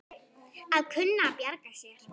Að kunna að bjarga sér!